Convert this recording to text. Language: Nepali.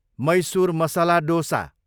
मैसुर मसला डोसा